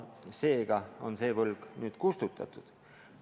Seega on see võlg nüüd kustutatud.